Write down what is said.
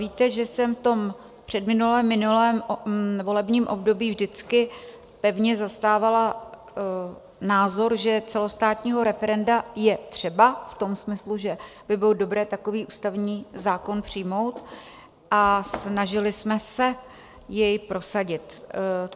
Víte, že jsem v předminulém - minulém volebním období vždycky pevně zastávala názor, že celostátního referenda je třeba v tom smyslu, že by bylo dobré takový ústavní zákon přijmout, a snažili jsme se jej prosadit.